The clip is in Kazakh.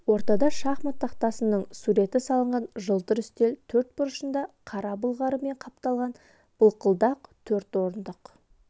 ортада шахмат тақтасының суреті салынған жылтыр үстел төрт бұрышында қара былғарымен қапталған былқылдақ төрт орындық